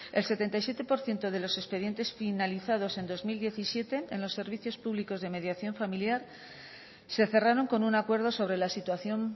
el setenta y siete por ciento de los expedientes finalizados en dos mil diecisiete en los servicios públicos de mediación familiar se cerraron con un acuerdo sobre la situación